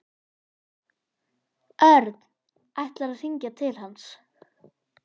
Örn ætlar að hringja til hans.